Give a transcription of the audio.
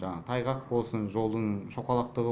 жаңағы тайғақ болсын жолдың шоқалақтығы